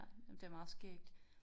Ja det meget skægt